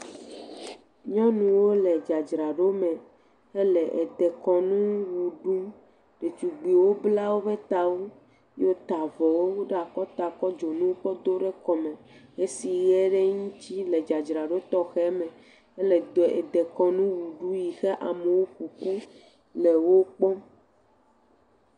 Nyɔnuwo le dzadzraɖo me hele edekɔnu wɔ ɖum ɖetugbuiwo bla woƒe tawo heta avɔ ɖe akɔta kɔ dzonu kɔ do ɖe kɔme hesiye ɖe ŋuti le dzadzra ɖo tɔxɛ me hele due…dekɔnu wu ɖumle eyi amewo ƒoƒu le wokpɔm.